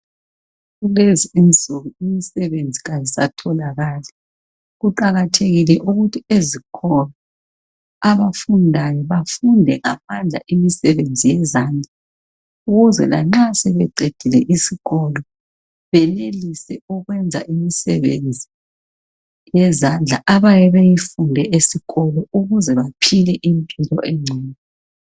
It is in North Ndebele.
Kulezi insuku imisebenzi ayisatholakali kuqakathekile ukuthi ezikolo abafundayo bafunde imisebenzi yezandla ukuze lanxa sebeqedile isikolo beyenelise ukwenza imisebenzi abayabe beyifunde esikolo ukuze baphile impilo engcono